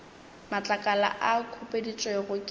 matlakala a a khupeditšwego ke